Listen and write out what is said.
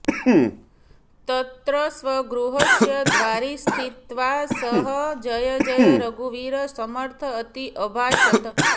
तत्र स्वगृहस्य द्वारि स्थित्वा सः जय जय रघुवीर समर्थ अति अभाषत